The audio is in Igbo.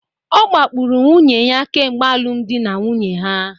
Ọ kpagburu nwunye ya kemgbe alụmdi na nwunye ha